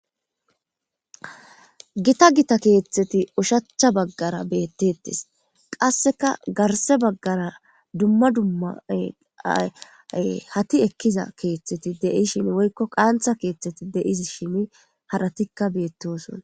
gita gita keeththeti ushacha baggara beettettes qasseka garse baggara dumma dumma-ayy hati ekkiza keeththeti deishin woykko qaantha keeththeti deizi shini haratikka beettosona